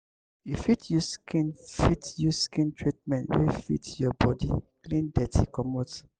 you fit use skin fit use skin treatment wey fit your body clean dirty comot